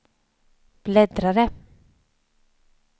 bläddrare